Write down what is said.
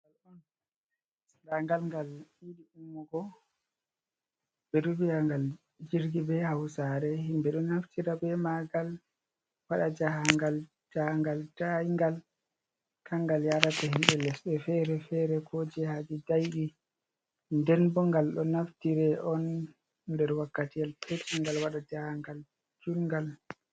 Ndaangal ngal yiɗi ummugo, ɓe ɗo vi'a ngal "jirgi" bee Hawsaare. Himɓe ɗo naftira bee maagal waɗa jahaangal, jahaangal daayngal. Kanngal yaarata himmɓe lesɗe feere-feere koo jihaaji daayɗi. Nden boo ngal ɗo naftiree on nder wakkatiyel peetel, ngal waɗa jahaangal juudngal.